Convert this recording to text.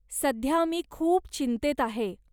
सध्या मी खूप चिंतेत आहे.